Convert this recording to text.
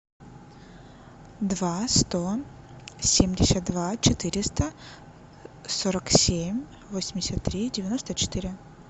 два сто семьдесят два четыреста сорок семь восемьдесят три девяносто четыре